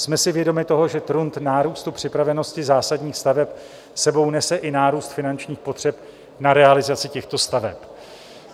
Jsme si vědomi toho, že trend nárůstu připravenosti zásadních staveb sebou nese i nárůst finančních potřeb na realizaci těchto staveb.